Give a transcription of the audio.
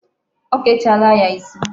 O kechaala ya isi.